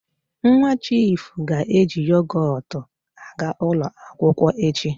Nwa chiifu ga-eji yogot aga ụlọ akwụkwọ echi.